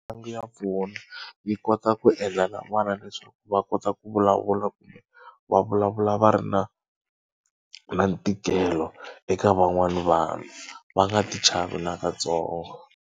Mitlangu ya pfuna yi kota ku endla na vana leswaku va kota ku vulavula kumbe va vulavula va ri na na ntikelo eka van'wana va nga tichavi na katsongo.